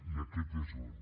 i aquest és un